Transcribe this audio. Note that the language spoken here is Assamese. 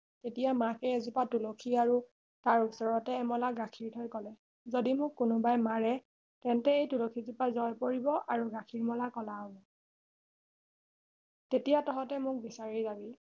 তেতিয়া মাকে এজোপা তুলসী আৰু তাৰ ওচৰতে এমলা গাখীৰ থৈ কলে যদি মোক কোনোবাই মাৰে তেন্তে এই তুলসী জোপা জয় পৰিব আৰু গাখীৰ মলা কলা হব তেতিয়া তহতে মোক বিচাৰি যাবি